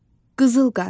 Qızıl qaz.